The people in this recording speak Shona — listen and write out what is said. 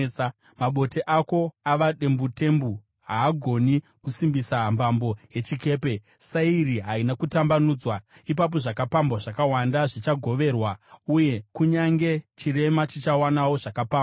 Mabote ako ava dembutembu: Haagoni kusimbisa mbambo yechikepe, sairi harina kutambanudzwa. Ipapo zvakapambwa zvakawanda zvichagoverwa, uye kunyange chirema chichawanawo zvakapambwa.